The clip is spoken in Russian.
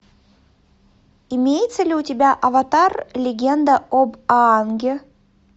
имеется ли у тебя аватар легенда об аанге